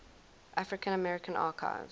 african american archives